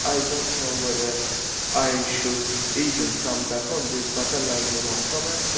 I do not know whether I should even come back on this, but allow me one comment.